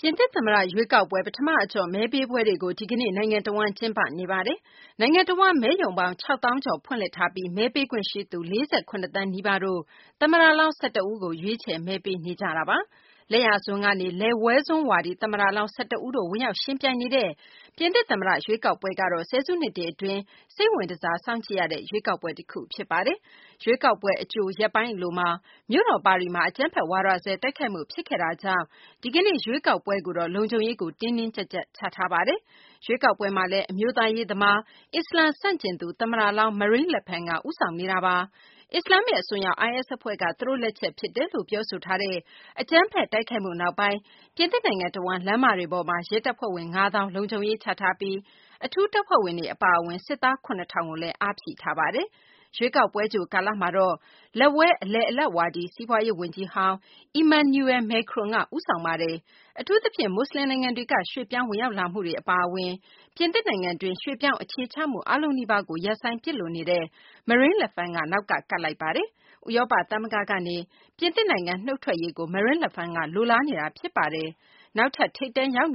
ပြင်သစ် သမ္မတ ရွေးကောက်ပွဲ ပထမအကျော့ မဲပေးပွဲတွေကို ဒီကနေ့ နိုင်ငံတဝန်း ကျင်းပနေပါတယ်။ နိုင်ငံတဝန်း မဲရုံပေါင်း ၆ သောင်းကျော် ဖွင့်လှစ်ထားပြီး မဲပေးခွင့်ရှိသူ ၄၇ သန်းနီးပါးတို့က သမ္မတလောင်း ၁၁ ဦးကို ရွေးချယ်မဲပေးနေကြပါတယ်။ လက်ယာစွန်း ကနေ လက်ဝဲစွန်း ဝါဒီ သမ္မတလောင်း ၁၁ ဦးတို့ ဝင်ရောက် ယှဉ်ပြိုင်နေတဲ့ ပြင်သစ် သမ္မတ ရွေးကောက်ပွဲကတော့ ဆယ်စုနှစ်တွေ အတွင်း စိတ်ဝင်တစား စောင့်ကြည့်ရတဲ့ ရွေးကောက်ပွဲ တခုဖြစ်ပါတယ်။ ရွေးကောက်ပွဲ အကြို ရက်ပိုင်း အလိုမှာ မြို့တော် ပါရီမှာ အကြမ်းဖက် ဝါဒစွဲ တိုက်ခိုက်မှု ဖြစ်ခဲ့တာကြောင့် ဒီကနေ့ ရွေးကောက်ပွဲတွေကိုတော့ လုံခြုံရေးကို တင်းတင်းကြပ်ကြပ် ချထားပါတယ်။ ရွေးကောက်ပွဲမှာလည်း အမျိုးသားရေး သမား၊ အစ္စလာမ် ဆန့်ကျင်သူ သမ္မတလောင်း Marine Le Pen က ဦးဆောင်နေတာပါ။ အစ္စလာမ္မစ် အစွန်းရောက် IS အဖွဲ့က သူတို့ လက်ချက် ဖြစ်တယ်လို့ ပြောဆိုထားတဲ့ အကြမ်းဖက် တိုက်ခိုက်မှုနောက်ပိုင်း ပြင်သစ်နိုင်ငံ တဝန်း လမ်းမတွေပေါ်မှာ ရဲတပ်ဖွဲ့ဝင် ၅ သောင်းကို လုံခြုံရေးချထားပြီး အထူးတပ်ဖွဲ့တွေ အပါအဝင် စစ်သား ၇ ထောင်ကိုလည်း ထပ်ဖြည့်ထားပါတယ်။ ရွေးကောက်ပွဲကြို ကာလ လူထုစစ်တမ်းမှာတော့ လက်ဝဲ အလယ်အလတ်ဝါဒီ စီးပွားရေး ဝန်ကြီးဟောင်း Emmanuel Macron က ဦးဆောင်နေပါတယ်။ အထူးသဖြင့် မွတ်စလင်နိုင်ငံတွေက ရွှေ့ပြောင်းဝင်ရောက်လာမှုတွေ အပါအဝင် ပြင်သစ်နိုင်ငံတွင်း ရွှေ့ပြောင်းအခြေချမှု အားလုံးနီးပါးကို ရပ်ဆိုင်းပစ်လိုနေတဲ့ Marine Le Pen က နောက်က ကပ်လိုက်နေပါတယ်။ ဥရောပ သမဂ္ဂကနေလည်း ပြင်သစ်နိုင်ငံ နုတ်ထွက်ရေးကို Marine Le Pen က လိုလားနေတာလည်း ဖြစ်ပါတယ်။ နောက်ထပ် ထိပ်တန်းရောက်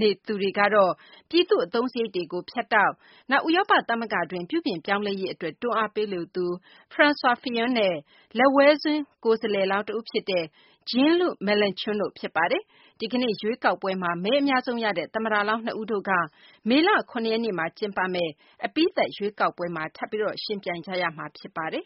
နေသူတွေကတော့ ပြည်သူ့ အသုံးစားရိတ်တွေကို ဖြတ်တောက်၊ နောက် ဥရောပ သမဂ္ဂအတွင်း ပြုပြင်ပြောင်းလဲရေး အတွက် တွန်းအားပေးလိုသူ Francois Fillon နဲ့ လက်ဝဲစွန်း ကိုယ်စားလှယ်လောင်း တဦးဖြစ်တဲ့ Jean-Luc Melenchon တို့ ဖြစ်ပါတယ်။ ဒီကနေ့ ရွေးကောက်ပွဲမှာ မဲအများဆုံးရတဲ့ သမ္မတလောင်း ၂ ဦးတို့က မေလ ၇ ရက်နေ့မှာကျင်းပမယ့် အပြီးသတ် ရွေးကောက်ပွဲမှာ ထပ်ပြီး ယှဉ်ပြိုင်ကြရမှာ ဖြစ်ပါတယ်